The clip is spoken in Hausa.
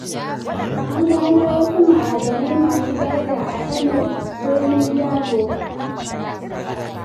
An gano wasu ma'adanai masu daraja a Kano birnin Dabo.